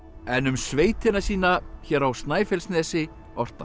en um sveitina sína hér á Snæfellsnesi orti hann